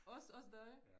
Også også dig?